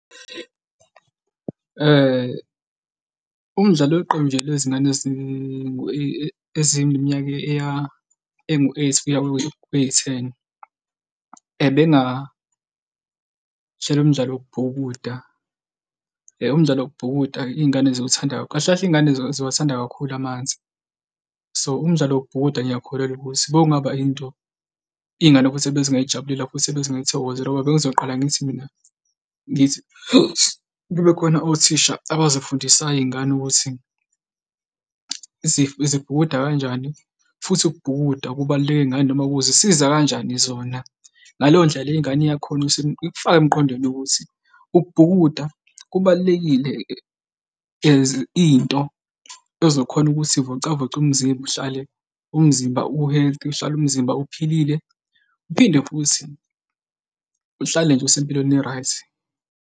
Umdlalo weqembu nje lwezingane ezineminyaka engu-eight kuya kwiyi-ten, ebengathela umdlalo wokubhukuda. Umdlalo wokubhukuda-ke iy'ngane ziwuthanda, kahle kahle iy'ngane ziwathanda kakhulu amanzi, so umdlalo wokubhukuda ngiyakholelwa ukuthi bowungaba into iy'ngane futhi ezingayijabulela futhi ebezingayithokozela ngoba bengizoqala ngithi mina, ngithi kube khona othisha abazifundisayo iy'ngane ukuthi zibhukuda kanjani futhi ukubhukuda kubaluleke ngani noma kuzisiza kanjani zona. Ngaleyo ndlela le ingane iyakhona ukuthi ikufake emqondweni ukuthi ukubhukuda kubalulekile as into ezokhona ukuthi ivocavoce umzimba uhlale umzimba ubukeke, uhlale umzimba ophilile, uphinde futhi uhlale nje usempilweni e-right.